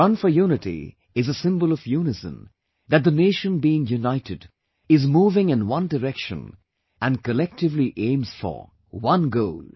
'Run for Unity' is a symbol of unison, that the nation being united, is moving in one direction and collectively aims for One goal